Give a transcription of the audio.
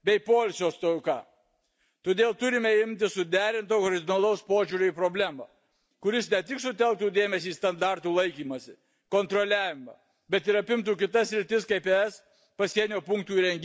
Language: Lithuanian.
Todėl turime imtis suderinto horizontalaus požiūrio į problemą, kuris ne tik sutelktų dėmesį į standartų laikymąsi, kontroliavimą, bet ir apimtų kitas sritis kaip ES pasienio punktų įrengimas ir procedūros juose.